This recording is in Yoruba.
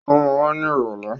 Ó ma wá ní ìrọ̀lẹ́.